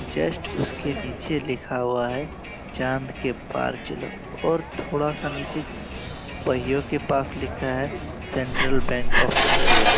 Just उसके पीछे लिखा हुआ है चांद के पार चलो और थोड़ा सा नीचे पहियों के पास लिखा है सेंट्रल बैंक ऑफ़ इंडिया ।